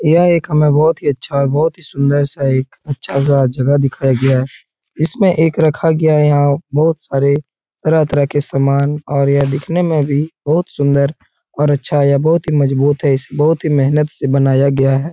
यह एक हमे बहोत ही अच्छा और बहोत ही सुंदर सा एक अच्छा सा जगह दिखाई गया है। इसमें एक रखा गया यहाँ बहोत सारे तरह-तरह के समान और यह दिखने में भी बहोत सुन्दर और अच्छा या बहोत ही मजबूत बहोत ही मेहनत से बनाया गया है।